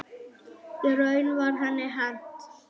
Í raun var henni hent.